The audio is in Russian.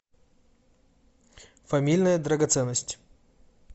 фамильная драгоценность